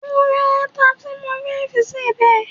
Mo ń ra ata tí mo fẹ́ fi ṣe ọbẹ̀